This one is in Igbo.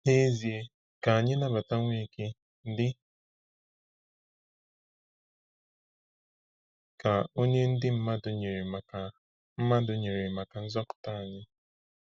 N’ezie, ka anyị nabata Nweke dị ka onye ndị mmadụ nyere maka mmadụ nyere maka nzọpụta anyị.